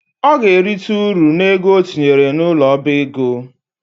Ọ ga-erita ụrụ n’ego o tinyere n’ụlọ ọba ego